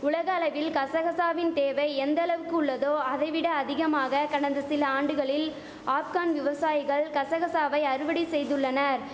உலக அளவில் கசகசாவின் தேவை எந்த அளவுக்கு உள்ளதோ அதை விட அதிகமாக கடந்த சில ஆண்டுகளில் ஆப்கான் விவசாயிகள் கசகசாவை அறுவடை செய்துள்ளனர்